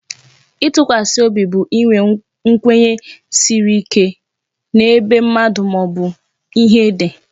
Itụkwasị obi bụ inwe nkwenye siri ike n'ebe mmadụ maobu ihe dị